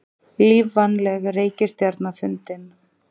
Lífvænleg reikistjarna fundin